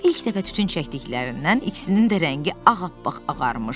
Amma ilk dəfə tütün çəkdiklərindən ikisinin də rəngi ağappaq ağarmışdı.